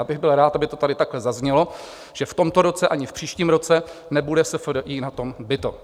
Já bych byl rád, aby to tady takhle zaznělo, že v tomto roce ani v příštím roce nebude SFDI na tom bito.